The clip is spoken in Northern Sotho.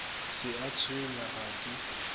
se a tshwenya ga ke